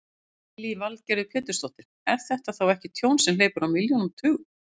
Lillý Valgerður Pétursdóttir: Er þetta þá ekki tjón sem hleypur á milljónum, tugum?